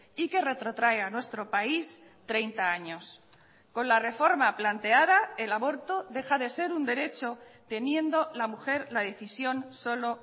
y que retrotrae a nuestro país treinta años con la reforma planteada el aborto deja de ser un derecho teniendo la mujer la decisión solo